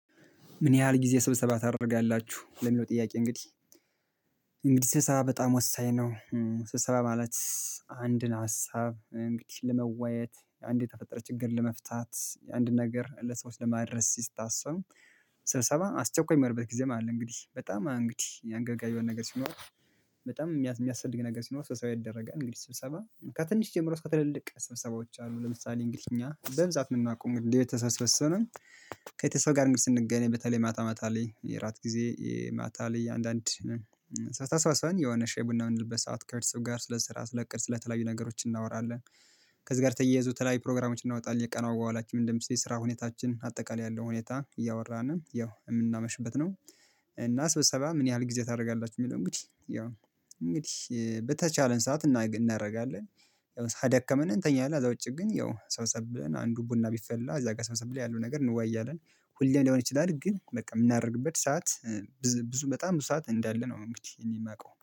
ምን ያህል ጊዜ ስብሰባ ታደርጋላችሁ ለሚለው ጥያቄ እንግዲህ እንግዲህ ስብሰበ በጣም ወሳኝ ነው። ስብሰበ ማለት አንድን ሀሳብ እንግዲህ ለመወያየት አንድ የተፈጠረ ችግር ለመፍታት አንድ ነገር ለሰዎች ለማድረስ ሲስታሰብ ስብሰባ አስቸኳይ ምሆንበት ጊዜም አለ እንግዲህ በጣም እንግዲህ አንገብጋብ የሆነ ነገር ሲኖር በጣም የሚያስፈልግ ነገር ሲኖር ስብሰባ ይደረጋን እንግዲህ ስብሰባ ከትንሽ ጀምሮ እስከ ትልልቅ ስብሰባዎች አሉ ለምሳሌ እንግሊዝ እኛ በብዛት ነው የምናቆም ለየት ተሰበሰቡን። ሰው ጋር እንግዲህ ስንገናኝ በተለይ ማታ ማታ ላይ የእራት ጊዜ ማታ ላይ አንዳንድ ሰዓት ተሰባስበን የሆነ ሻይ ቡና ምንልበት ሰዓት ከርስዎ ጋር ስለ ስራ ስለ እቅድ ስልተለያዩ ነገሮች እናወራለን። ከዚህ ጋር ተያይዞ ተለያይ ፕሮግራሞችን እናወጣለን የቀናው በኋላችን ምንድን ስራ ሁኔታችን አጠቃላይ ያለው ሁኔታ እያወራን ያው የምናመሽበት ነው። እና ስብሰባ ምን ያህል ጊዜ ታደርጋላችሁ? የሚለው እንግዲህ ያው እንግዲህ በተቻለን ሰዓት እናደርጋለን። ያው ከደከመን እንተኛለን እዛ ውጪ ግን ያው ሰው ሰብለን አንዱ ቡና ቢፈላ እዛ ጋር ሰምሰም ላይ ያለው ነገር እንዋያለን ሁሌ ሊሆን ይችላል። ግን በቃ የምናደርግበት ሰዓት ብዙ በጣም ብዙ ሰዓት እንዳለ ነው እንግዲህ የማውቀው